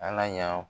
An ka yan